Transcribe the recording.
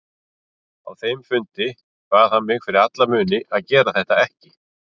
Á þeim fundi bað hann mig fyrir alla muni að gera þetta ekki.